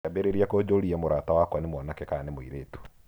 Akĩambĩrĩria kũnjũũria mũrata wakwa nĩ mwanake kana nĩ mũirĩtu.